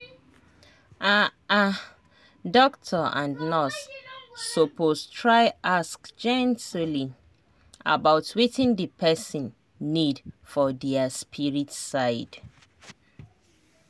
ah ah doctor and nurse suppose try ask gently about wetin the person need for their spirit side.